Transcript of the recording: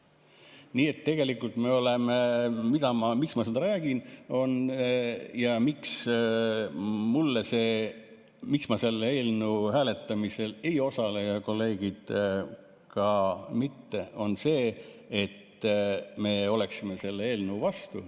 Nii et tegelikult, miks ma seda räägin ja miks ma selle eelnõu hääletamisel ei osale ja kolleegid ka mitte, see, et me oleksime selle eelnõu vastu.